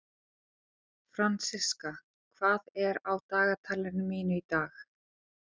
Fransiska, hvað er á dagatalinu mínu í dag?